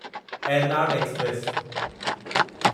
Ernad express